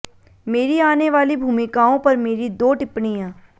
मेरी आने वाली भूमिकाओं पर मेरी दो टिप्पणियां